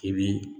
I bi